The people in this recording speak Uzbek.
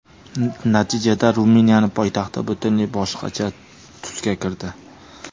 Natijada Ruminiyaning poytaxti butunlay boshqacha tusga kirdi.